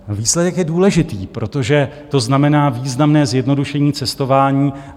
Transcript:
Výsledek je důležitý, protože to znamená významné zjednodušení cestování.